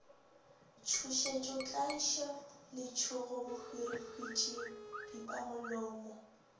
tšhošetšo tlaišo letšhogo bohwirihwitši pipamolomo